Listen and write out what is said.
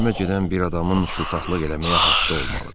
Ölmə gedən bir adamın şıltaqlıq eləməyə haqqı olmalıdır.